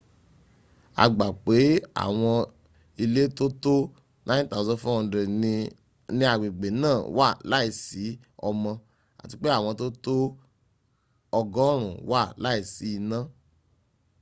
a gba pé àwọm ilé tó tó 9400 ní agbègbè náà wà láìsí omo àti pé àwọn tó tó 100 wà láìsí iná